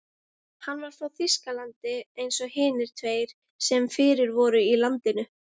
Hann var frá Þýskalandi eins og hinir tveir sem fyrir voru í landinu.